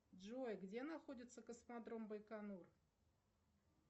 джой где находится космодром байконур